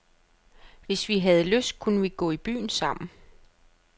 Hvis vi havde lyst, kunne vi gå i byen sammen.